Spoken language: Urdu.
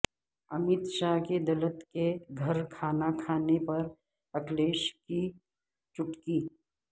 امت شاہ کے دلت کے گھر کھانا کھانے پر اکھلیش کی چٹکی